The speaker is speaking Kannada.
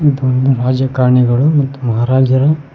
ಮತ್ತು ಒಂದು ರಾಜಕಾರಣಿಗಳು ಮತ್ತು ಮಹರಾಜರು--